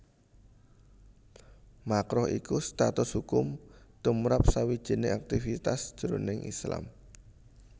Makruh iku status hukum tumrap sawijining aktivitas jroning Islam